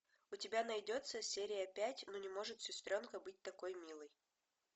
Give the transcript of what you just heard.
у тебя найдется серия пять ну не может сестренка быть такой милой